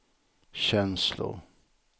känslor